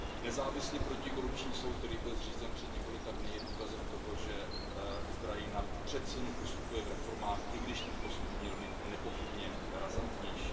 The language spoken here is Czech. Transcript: Nezávislý protikorupční soud, který byl zřízen před několika dny, je důkazem toho, že Ukrajina přeci jen postupuje v reformách, i když ten postup by měl být nepochybně razantnější.